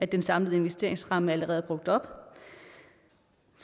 den samlede investeringsramme allerede er brugt op